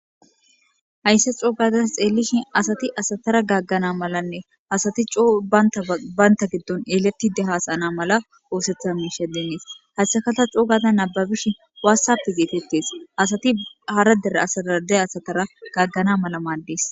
hayssa xoogaza xeellishin asati asatara gaggana malanne asati coo baynta giddon eletide haasaana mala oosetha miisha deenees haysakata coogada nababishi waassappe geetettes asati hara dera asaade asatara gaggana mala maaddees